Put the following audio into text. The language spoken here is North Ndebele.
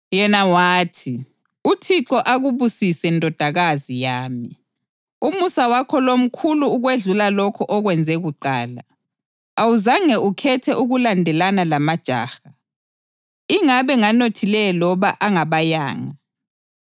Yena wathi, “ UThixo akubusise, ndodakazi yami. Umusa wakho lo mkhulu ukwedlula lokho okwenze kuqala. Awuzange ukhethe ukulandelana lamajaha, ingabe nganothileyo loba angabayanga.